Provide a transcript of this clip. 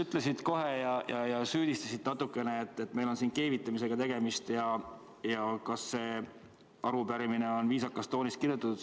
Sa siin kohe alustuseks ütlesid, et meil on siin keevitamisega tegemist, ja süüdistasid natukene, kas see arupärimine on ikka viisakas toonis kirjutatud.